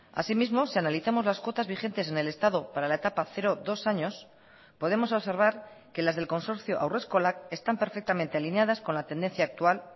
así mismo si analizamos las cuotas vigentes en el estado para la etapa cero dos años podemos observar que las del consorcio haurreskolak están perfectamente alineadas con la tendencia actual